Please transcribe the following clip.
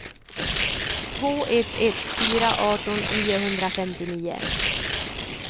två ett ett fyra arton niohundrafemtionio